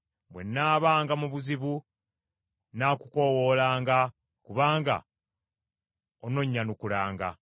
Bwe nnaabanga mu buzibu nnaakukoowoolanga; kubanga ononnyanukulanga.